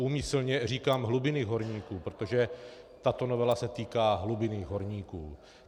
Úmyslně říkám hlubinných horníků, protože tato novela se týká hlubinných horníků.